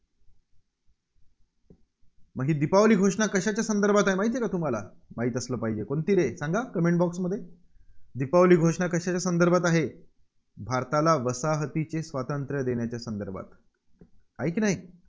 मग ही दीपावली घोषणा कशाच्या संदर्भात आहे, माहिती आहे का तुम्हाला? माहीत असलं पाहिजे. कोणती रे? सांगा comment box मध्ये. दीपावली घोषणा कशाच्या संदर्भात आहे? भारताला वसाहतीचे स्वातंत्र्य देण्याच्या संदर्भात. आहे की नाही?